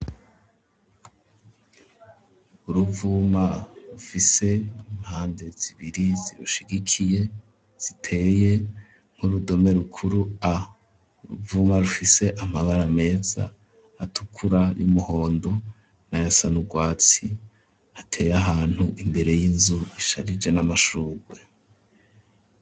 Uruvuma rufise impande zibiri zirushigikiye ziteye nk'urudome rukuru a. Uruvuma rufise amabara meza atukura, ay'umuhondo nayasa n'urwatsi, ateye ahantu imbere y'inzu isharije n'amashurwe.